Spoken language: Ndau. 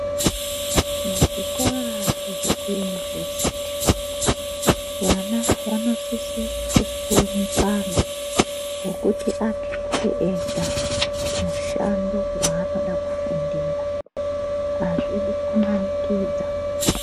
Muzvikora zvekuyunivhesiti vana vanosise kupuwe mukana wokuti akete ega mushando waanoda kufundira, hazvidi kumanikidza.